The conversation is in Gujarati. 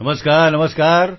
નમસ્કાર નમસ્કાર